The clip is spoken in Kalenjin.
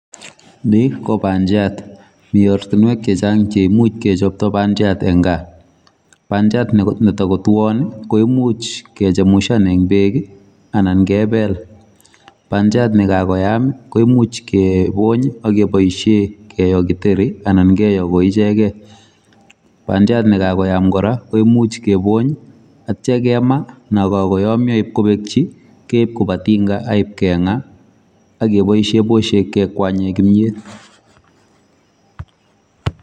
Ni ko pandiat. Mi ortinwek chechang cheimuch kechopto pandiat eng kaa. Pandiat netakotuon koimuch kechemushan eng bek anan kebel. Bandiat nekakoyam koimuch kebony akeboisie keyo kiteri anan keyo koichekei. Bandiat nekakoyam kora koimuch kebony atya kema nakakoyamyo ibkobekyi keib koba tinga aibkeng'a akeboisie boshek kekwanye kinyet.